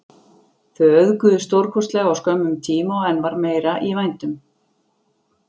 Þau auðguðust stórkostlega á skömmum tíma og enn meira var í vændum.